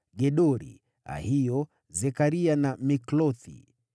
Gedori, Ahio, Zekaria na Miklothi.